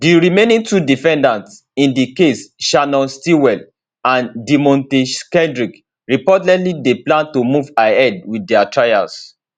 di remaining two defendants in di case shannon stillwell and deamonte kendrick reportedly dey plan to move ahead with dia trials